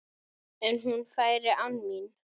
En hún færi án mín.